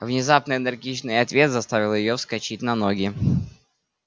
внезапный энергичный ответ заставил её вскочить на ноги